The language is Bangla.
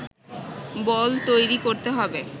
বল তৈরি করতে হবে